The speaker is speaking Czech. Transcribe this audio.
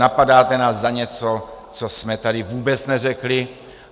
Napadáte nás za něco, co jsme tady vůbec neřekli.